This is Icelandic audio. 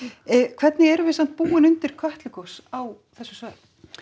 hvernig erum við samt búin undir Kötlugos á þessu svæði